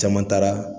Caman taara